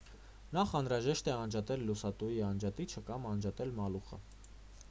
նախ անհրաժեշտ է անջատել լուսատուի անջատիչը կամ անջատել մալուխը